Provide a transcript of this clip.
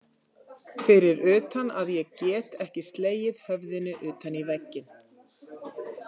Fyrir utan að ég get ekki slegið höfðinu utan í vegginn.